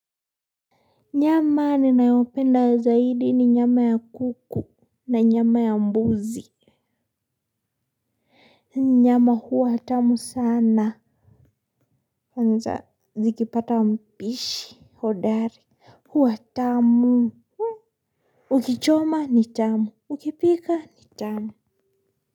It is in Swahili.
Nyama ninayopenda zaidi ni nyama ya kuku na nyama ya mbuzi. Nyama huwa tamu sana kwanza zikipata mpishi hodari huwa tamu. Ukichoma ni tamu ukipika ni tamu.